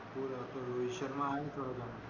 थोड थोड रोहित शर्मा आहे जोरदार